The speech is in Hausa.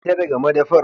Fita daga madafar!